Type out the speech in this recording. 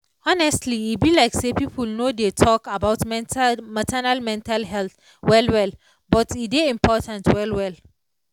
honestly e be like say people no dey tok about mental maternal mental health well well but e dey important well well.